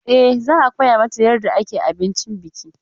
E, za a koya mata yarda ake abincin biki.